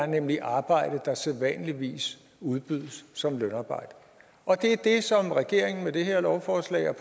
nemlig arbejde der sædvanligvis udbydes som lønarbejde og det er det som regeringen og det her lovforslag